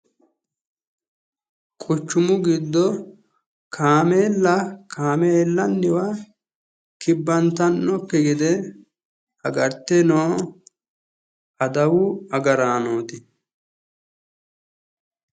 Quchumu giddo kaameella kaameellanniwa kibbantannokki gede agarte noo adawu agaraanooti.